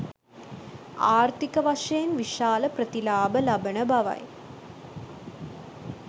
ආර්ථික වශයෙන් විශාල ප්‍රතිලාභ ලබන බවයි